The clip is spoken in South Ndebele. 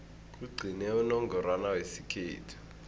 kugcine unongorwana wesikhethu